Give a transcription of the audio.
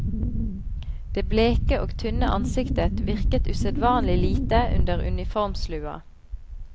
Det bleke og tynne ansiktet virket usedvanlig lite under uniformslua.